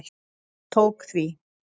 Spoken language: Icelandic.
Hann tók því.